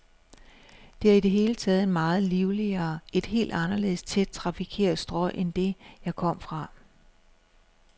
Det er i det hele taget et meget livligere, et helt anderledes tæt trafikeret strøg end det, jeg kom fra.